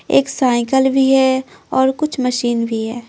एक साइकिल भी है और कुछ मशीन भी है।